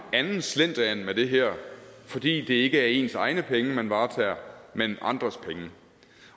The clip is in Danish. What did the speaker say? anden slendrian med det her fordi det ikke er ens egne penge man varetager men andres penge